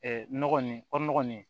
nɔgɔ nin nɔgɔ nin